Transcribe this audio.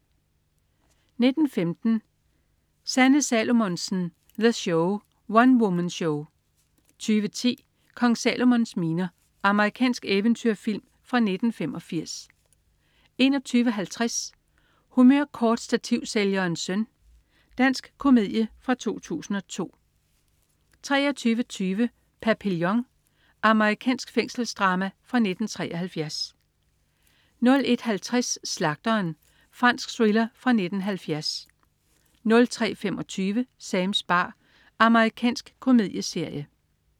19.15 Sanne Salomonsen. The Show. One-woman-show 20.10 Kong Salomons miner. Amerikansk eventyrfilm fra 1985 21.50 Humørkortstativsælgerens søn. Dansk komedie fra 2002 23.20 Papillion. Amerikansk fængselsdrama fra 1973 01.50 Slagteren. Fransk thriller fra 1970 03.25 Sams bar. Amerikansk komedieserie